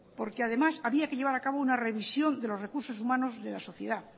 porque además había que llevar a cabo una revisión de los recursos humanos de la sociedad